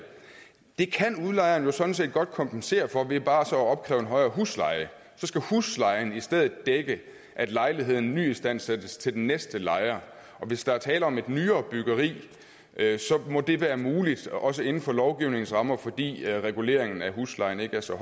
det kan udlejeren jo sådan set godt kompensere for ved bare at opkræve en højere husleje så skal huslejen i stedet dække at lejligheden nyistandsættes til den næste lejer og hvis der er tale om et nyere byggeri må det være muligt også inden for lovgivningens rammer fordi reguleringen af huslejen ikke er så